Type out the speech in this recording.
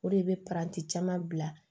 O de bɛ caman bila